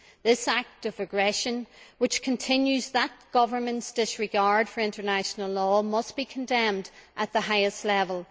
This act of aggression, which continues that government's disregard for international law, must be condemned at the highest level.